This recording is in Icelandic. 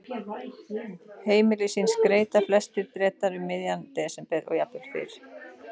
Heimili sín skreyta flestir Bretar um miðjan desember og jafnvel fyrr.